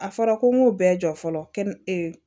A fɔra ko n k'o bɛɛ jɔ fɔlɔ kɛnɛ